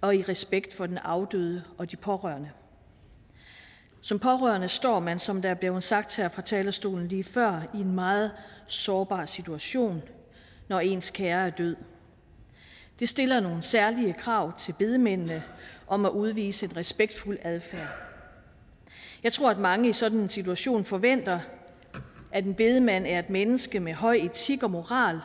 og i respekt for den afdøde og de pårørende som pårørende står man som det blev sagt her fra talerstolen lige før i en meget sårbar situation når ens kære er død det stiller nogle særlige krav til bedemændene om at udvise en respektfuld adfærd jeg tror at mange i sådan en situation forventer at en bedemand er et menneske med høj etik og moral